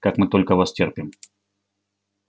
как мы только вас терпим